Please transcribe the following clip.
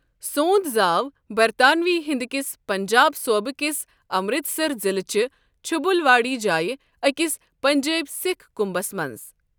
سونٛد زاو برطانوی ہِند كِس پنجاب صوُبہٕ كِس امرتسر ضِلعہ چہِ چھجُل واڑی جایہ اكِس پنجیبہِ سِكھ كُمبس منز ۔